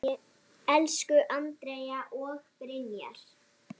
Elsku Andrea og Brynja.